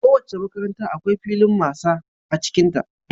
Kowace makaranta akwai filin masa a cikinta.